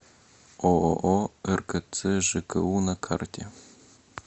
ооо ркц жку на карте